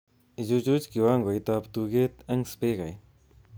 Ichuch kiwangoitab tuget eng spikait